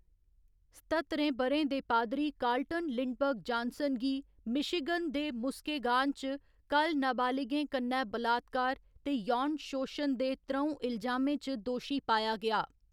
सत्ततरें ब'रें दे पादरी कार्लटन लिंडबर्ग जानसन गी मिशिगन दे मुस्केगान च कल नाबालिगें कन्नै बलात्कार ते यौन शोशन दे त्र'ऊं इलजामें च दोशी पाया गेआ।